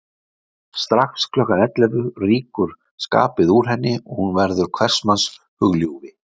Strax klukkan ellefu rýkur skapið úr henni og hún verður hvers manns hugljúfi.